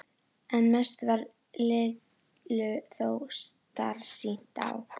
En mest varð Lillu þó starsýnt á